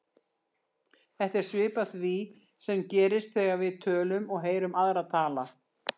Þetta er svipað því sem gerist þegar við tölum og heyrum aðra tala.